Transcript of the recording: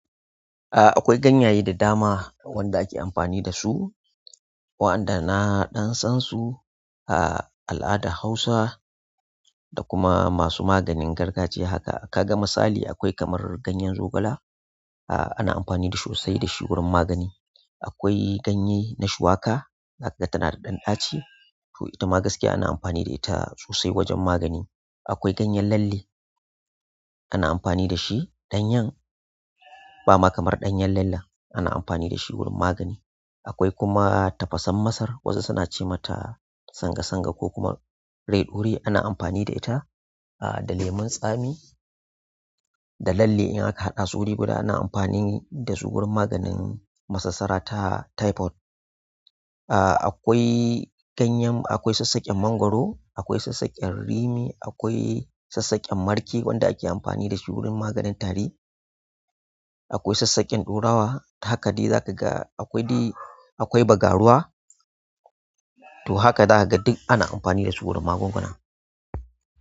Aaa, akwai ganyaye da dama wanda ake amfani da su, waɗanda na ɗan san su a al'adar Hausa da kuma masu maganin gargajiya haka. Kaga misali akwai kamar ganyen zogale ah ana amfani dashi sosai gurin wajen magani. Akwai ganye na shuwaka, haka tana da ɗan ɗaci to ita ma gaskiya ana amfani da ita sosai wajen magani. Akwai ganyen lalle, ana amfani da shi ɗanyan, ba ma kamar ɗanyan lalla ana amfani da shi wurin magani. Akwai kuma tafasan masar wasu suna ce mata sanga sanga ko kuma rai ɗaure ana amfani da ita a da lemon tsami da lalle in aka haɗa su wuri guda ana amfani da su wurin maganin masassara ta typhoid. Ah akwai ganyen akwai saksakken mangoro akwai saksakken rimi akwai saksakken marke wanda ake amfani dashi wajen maganin tari. Akwai sassaken ɗorawa, haka zaka ga akwai dai akwai bagaruwa to haka zakaga duk ana amfani da su wurin magunguna.